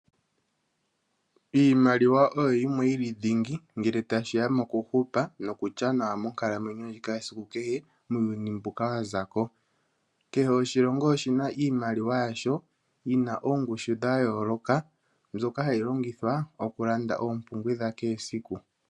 Iimaliwa oyo yimwe yili dhingi ngele tashi ya mokuhupa nokulya nawa monkalamwenyo ndjika yesiku kehe, muuyuni mbuka wazako. Kehe oshilongo oshina iimaliwa yasho yina oongushu dhayooloka mbyoka hayi longithwa okulanda oompumbwe dha kehe esiku.